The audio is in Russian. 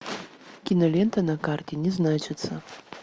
кинолента на карте не значится